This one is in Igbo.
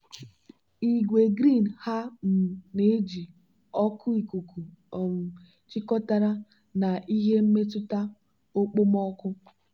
igwe griin ha um na-eji ọkụ ikuku um jikọtara na ihe mmetụta okpomọkụ.